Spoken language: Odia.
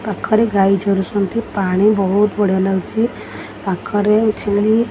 ପାଖରେ ଗାଈ ଚରୁଛନ୍ତି ପାଣି ବହୁତ୍ ବଢିଆ ଲାଗୁଚି ପାଖରେ ଛେଳି --